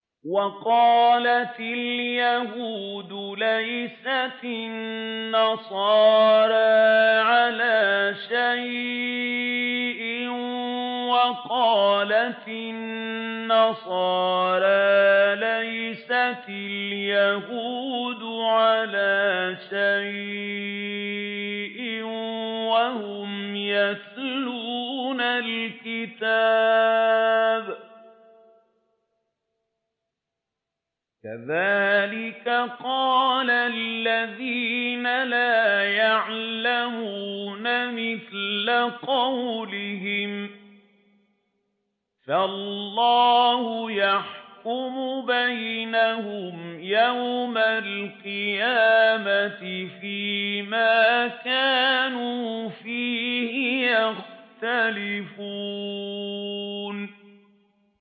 وَقَالَتِ الْيَهُودُ لَيْسَتِ النَّصَارَىٰ عَلَىٰ شَيْءٍ وَقَالَتِ النَّصَارَىٰ لَيْسَتِ الْيَهُودُ عَلَىٰ شَيْءٍ وَهُمْ يَتْلُونَ الْكِتَابَ ۗ كَذَٰلِكَ قَالَ الَّذِينَ لَا يَعْلَمُونَ مِثْلَ قَوْلِهِمْ ۚ فَاللَّهُ يَحْكُمُ بَيْنَهُمْ يَوْمَ الْقِيَامَةِ فِيمَا كَانُوا فِيهِ يَخْتَلِفُونَ